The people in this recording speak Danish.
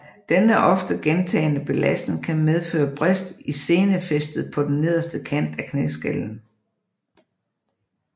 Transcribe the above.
Denne ofte gentagne belastning kan medføre brist i senefæstet på den nederste kant af knæskallen